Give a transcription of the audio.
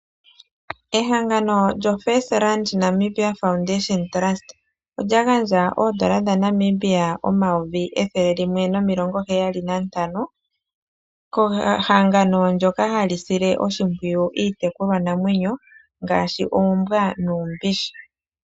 Ehangano lyoFirstRand Namibia Foundation Trust, olya gandja oondola omayovi N$ 175000 kehangano ndjoka hali sile oshimpwiyu iitekulwanamwenyo ngaashi oombwa nuumbishi.